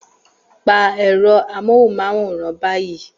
Pa ẹ̀rọ amóhùnmáwòrán báyìí